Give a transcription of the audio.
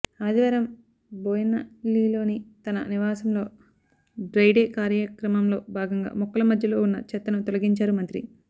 ఆదివారం బోయిన్పల్లిలోని తన నివాసంలో డ్రై డే కార్యక్రమంలో భాగంగా మొక్కల మధ్యలో ఉన్న చెత్తను తొలగించారు మంత్రి